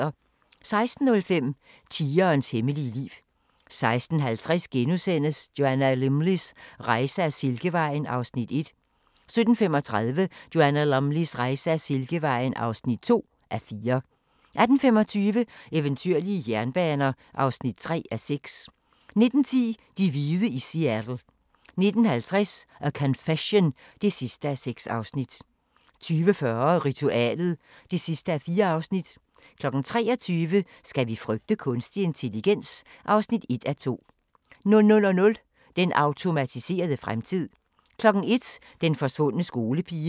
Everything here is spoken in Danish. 16:05: Tigerens hemmelige liv 16:50: Joanna Lumleys rejse ad Silkevejen (1:4)* 17:35: Joanna Lumleys rejse ad Silkevejen (2:4) 18:25: Eventyrlige jernbaner (3:6) 19:10: De hvide i Seattle 19:50: A Confession (6:6) 20:40: Ritualet (4:4) 23:00: Skal vi frygte kunstig intelligens? (1:2) 00:00: Den automatiserede fremtid 01:00: Den forsvundne skolepige